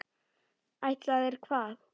Ætlaðir hvað?